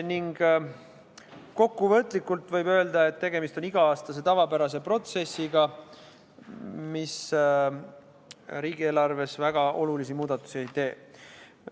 Kokkuvõtlikult võib öelda, et tegemist on iga-aastase tavapärase protsessiga, mis riigieelarves väga olulisi muudatusi ei tee.